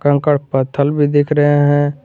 कंकड़ पत्थल भी देख रहे हैं।